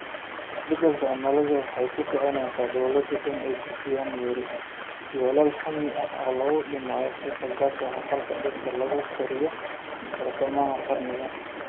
Isbeddelka cimiladu waxay ku kicinaysaa dawladuhu inay dejiyaan yoolal hammi ah oo lagu dhimayo qiiqa gaaska aqalka dhirta lagu koriyo bartamaha qarniga.